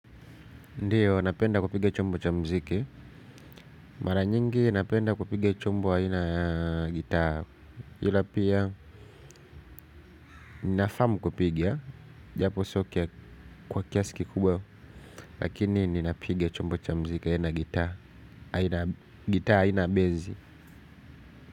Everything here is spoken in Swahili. Ndiyo napenda kupiga chombo cha muziki mara nyingi napenda kupiga chombo aina ya gitaa. Yulapia ninafamu kupiga japo sio kwa kiasiki kubwa lakini ninapiga chombo cha mziki ya na gitaa gita haina bezi.